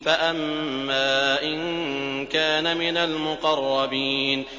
فَأَمَّا إِن كَانَ مِنَ الْمُقَرَّبِينَ